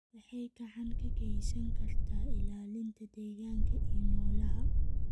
waxay gacan ka geysan kartaa ilaalinta deegaanka iyo noolaha.